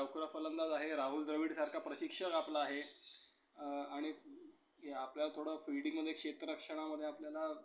फलंदाज आहे. राहुल द्रविड सारखा प्रशिक्षक आपला आहे. आणि आपल्याला थोडं fielding मध्ये क्षेत्ररक्षणामध्ये आपल्याला